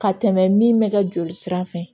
Ka tɛmɛ min mɛ kɛ joli sira fɛ